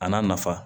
A n'a nafa